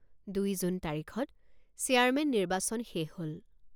দুই জুন তাৰিখত চেয়াৰমেন নিৰ্বাচন শেষ হল।